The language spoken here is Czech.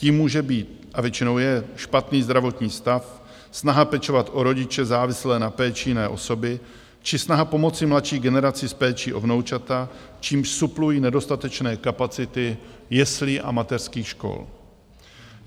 Tím může být - a většinou je - špatný zdravotní stav, snaha pečovat o rodiče závislé na péči jiné osoby či snaha pomoci mladší generaci s péčí o vnoučata, čímž suplují nedostatečné kapacity jeslí a mateřských škol.